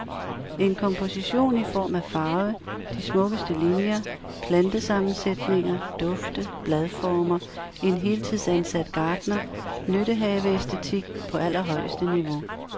En komposition i form og farve, de smukkeste linier, plantesammensætninger, dufte, bladformer, en heltidsansat gartner, nyttehaveæstetik på allerhøjeste niveau.